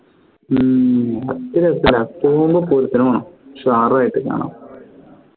ഉം പൂരത്തിന് പോകണം ഉഷാറായിട്ട് കാണാം